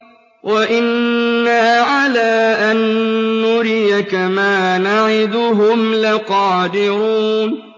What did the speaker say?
وَإِنَّا عَلَىٰ أَن نُّرِيَكَ مَا نَعِدُهُمْ لَقَادِرُونَ